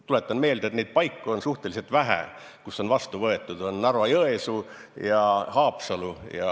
Tuletan meelde, et neid paiku on suhteliselt vähe, kus selline kava on vastu võetud: on Narva-Jõesuu ja Haapsalu.